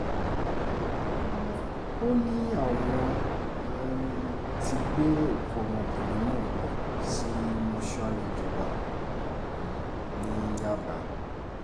ó ní wọ́n um ti gbé òkú obìnrin náà lọ sí mọ́ṣúárì ìjọba um ní yábà